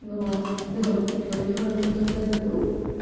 но до дома но мне он об этом сказать забыл